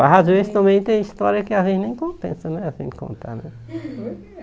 Mas às vezes também tem história que às vezes nem compensa, né, a gente contar, né? Por que